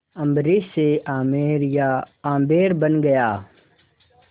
अम्बरीश से आमेर या आम्बेर बन गया